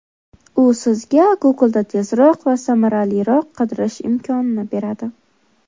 U sizga Google’da tezroq va samaraliroq qidirish imkonini beradi.